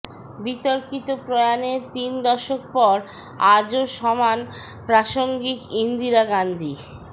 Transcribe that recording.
বিতর্কিত প্রয়াণের তিন দশক পর আজও সমান প্রাসঙ্গিক ইন্দিরা গান্ধী